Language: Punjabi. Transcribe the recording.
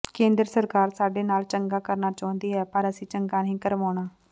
ਕੇਂਦਰ ਸਰਕਾਰ ਸਾਡੇ ਨਾਲ ਚੰਗਾ ਕਰਨਾ ਚਾਹੁੰਦੀ ਹੈ ਪਰ ਅਸੀਂ ਚੰਗਾ ਨਹੀਂ ਕਰਵਾਉਣਾ